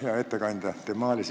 Hea ettekandja!